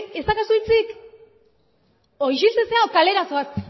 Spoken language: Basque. ez daukazu hitzik isiltzen zara edo kalera zoaz